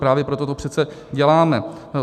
Právě proto to přece děláme.